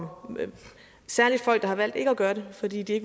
om særligt folk der har valgt ikke at gøre det fordi de har